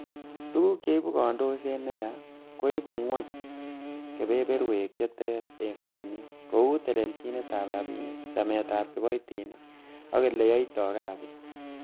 Tuguk cheibu kondokset neyaa, koibu gwony kebeberwek che terter en kompunit, kou telelchinetab rabinik, chametab kiboitinik ak ele kiyoitoi kasit.